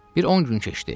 Bir 10 gün keçdi.